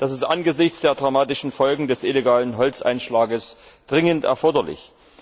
Das ist angesichts der dramatischen Folgen des illegalen Holzeinschlages dringend erforderlich.